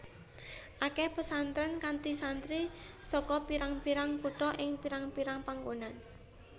Akeh pesantrén kanthi santri saka pirang pirang kutha ing pirang pirang panggonan